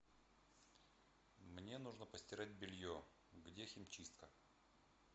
мне нужно постирать белье где химчистка